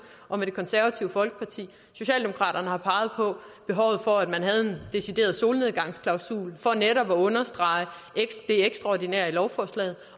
og med det konservative folkeparti socialdemokraterne har peget på behovet for at man havde en decideret solnedgangsklausul for netop at understrege det ekstraordinære i lovforslaget